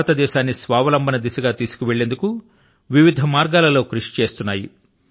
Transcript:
భారతదేశాన్ని స్వావలంబన దిశ గా తీసుకుపోయేందుకు వివిధ మార్గాల లో కృషి చేస్తున్నాయి